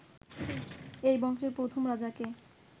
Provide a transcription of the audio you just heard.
এই বংশের প্রথম রাজাকে